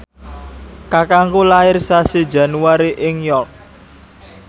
kakangku lair sasi Januari ing York